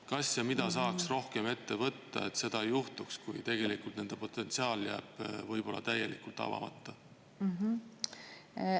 Kas ja kui, siis mida saaks rohkem ette võtta, et ei juhtuks nii, et nende potentsiaal jääb võib-olla täielikult avamata?